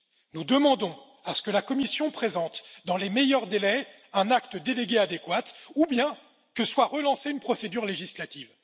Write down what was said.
Nous demandons que la Commission présente dans les meilleurs délais un acte délégué adéquat ou bien que soit relancée une procédure législative.